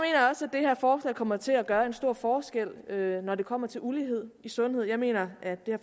her forslag kommer til at gøre en stor forskel når det kommer til ulighed i sundhed jeg mener at det